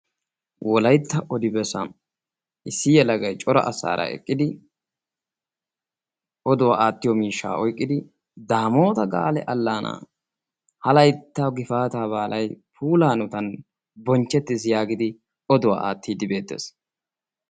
wolaytta odibessan issi yalagay cora asaara eqqidi oduwaa aattiyo miishshaa oyqqidi daamoota gaale allaanaa. ha laytta gifaata baalay puulaanutan bonchchettiis. yaagidi oduwaa aattiiddi beettees.